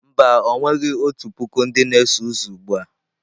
Mba, o nweghi otu puku ndị na-eso ụzọ ugbu a.